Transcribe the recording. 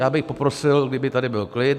- Já bych poprosil, kdyby tady byl klid.